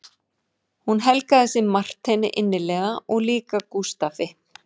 Hún helgaði sig Marteini innilega og líka Gústafi